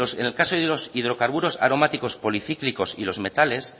en el caso de los hidrocarburos aromáticos policíclicos y los metales